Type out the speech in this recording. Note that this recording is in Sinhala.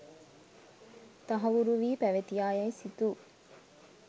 තහවුරුවී පැවතියා යැයි සිතූ